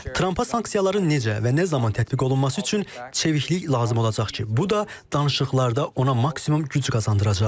Trampa sanksiyaların necə və nə zaman tətbiq olunması üçün çeviklik lazım olacaq ki, bu da danışıqlarda ona maksimum güc qazandıracaq.